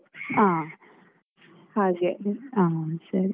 ಹ ಹಾಗೆ ಹಾ ಸರಿ..